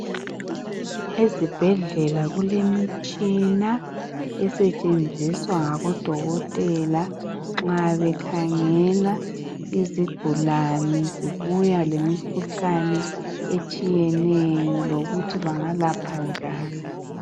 Ezibhedlela kulemitshina esentshenziswa ngabodokotela nxa bekhangela izigulane zibuya lemikhuhlane etshiyeneyo lokuthi bangalapha njani.